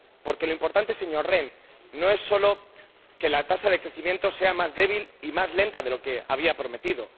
Porque lo importante, señor Rehn, no es solo que la tasa de crecimiento sea más débil y más lenta de lo que había prometido